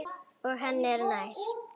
Og henni er nær.